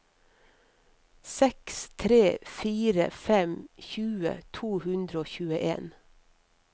seks tre fire fem tjue to hundre og tjueen